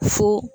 Fo